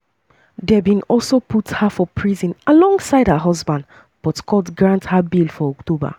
dem bin also put her for prison alongside um her husband but court grant um her bail for october.